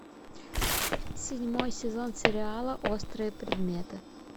седьмой сезон сериала острые предметы